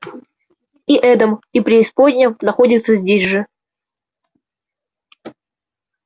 и эдем и преисподняя находятся здесь же